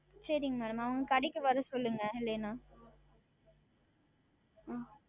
சரிங்கள் Madam அவர்களை கடைக்கு வர சொல்லுங்கள் இல்லை என்றால் ஆஹ்